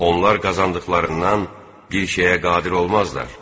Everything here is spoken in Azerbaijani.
Onlar qazandıqlarından bir şeyə qadir olmazlar.